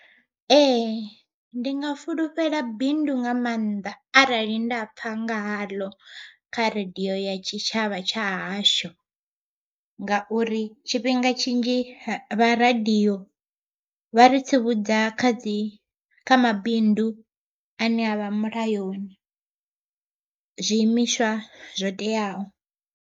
Ee ndi nga fulufhela bindu nga maanḓa arali nda pfha nga haḽo kha radiyo ya tshitshavha tsha hashu. Ngauri tshifhinga tshidzhi vha radiyo vha ri tsivhudza kha dzi kha mabindu ane avha mulayoni, zwiimiswa zwo teaho.